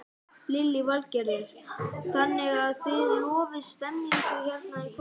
Lillý Valgerður: Þannig að þið lofið stemningu hérna í kvöld?